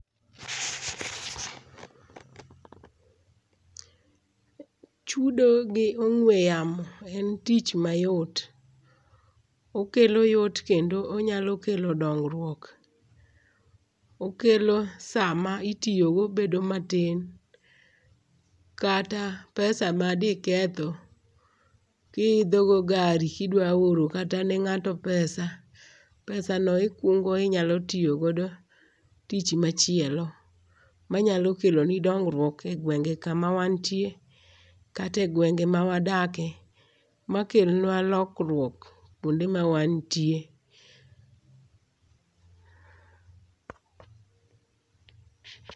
Chudo gi ong'we yamo en tich mayot, okelo yot kendo onyalo kelo dong'ruok, okelo sama itiyogo bedo matin, kata pesa ma di ketho kihithogo go gari ki dwa orone kata ne nga'to pesa, pesano ikuongo inyalo tiyogodo tich machielo manyalo keloni dong'ruok e gwenge' kama wantie kata e gwenge ma wadakie makelnwa lokruok kuonde ma wantie.